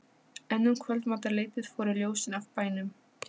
En um kvöldmatarleytið fóru ljósin af bænum.